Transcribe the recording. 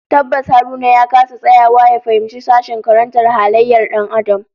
Tabbas Haruna ya kasa tsayawa ya fahimci sashen karantar halayyar Dan Adam